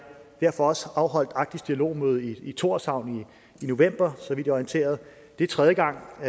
derfor også afholdt arktisk dialogmøde i tórshavn i november så vidt orienteret det er tredje gang på